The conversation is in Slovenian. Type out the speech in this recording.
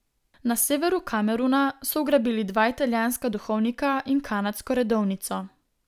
Na severu Kameruna so ugrabili dva italijanska duhovnika in kanadsko redovnico.